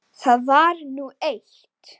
Það var nú eitt.